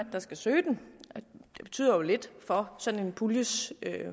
der skal søge den og det betyder jo lidt for sådan en puljes